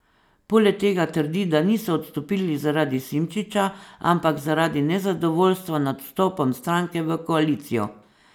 Poleg tega trdi, da niso odstopili zaradi Simčiča, ampak zaradi nezadovoljstva nad vstopom stranke v koalicijo.